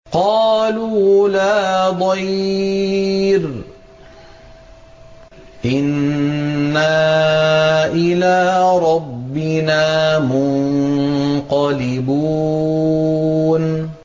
قَالُوا لَا ضَيْرَ ۖ إِنَّا إِلَىٰ رَبِّنَا مُنقَلِبُونَ